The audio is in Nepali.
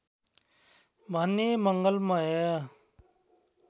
भन्ने मङ्गलमय